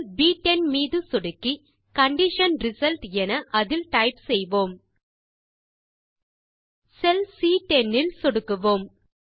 செல் ப்10 மீது சொடுக்கி கண்டிஷன் ரிசல்ட் என அதில் டைப் செய்வோம் செல் சி10 இல் சொடுக்குவோம்